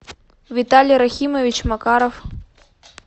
виталий рахимович макаров